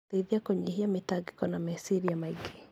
Gũteithia kũnyihia mĩtangĩko na meciria maingĩ.